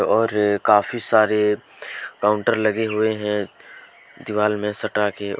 और काफी सारे काउंटर लगे हुए हैं दीवाल में सटा के और--